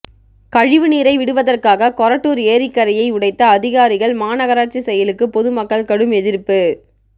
கழிவு நீரை விடுவதற்காக கொரட்டூர் ஏரிக்கரையை உடைத்த அதிகாரிகள் மாநகராட்சி செயலுக்கு பொதுமக்கள் கடும் எதிர்ப்பு